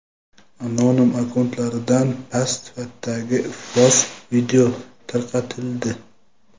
Anonim akkauntlardan past sifatdagi iflos video tarqatildi.